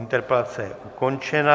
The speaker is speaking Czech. Interpelace je ukončena.